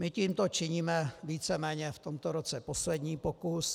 My tímto činíme víceméně v tomto roce poslední pokus.